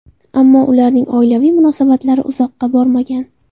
Ammo ularning oilaviy munosabatlari uzoqqa bormagan.